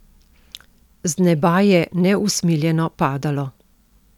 Z neba je neusmiljeno padalo.